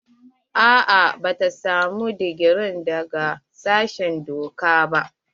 A'a bata samu digiri daga sashen doka ba.